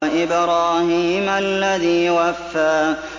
وَإِبْرَاهِيمَ الَّذِي وَفَّىٰ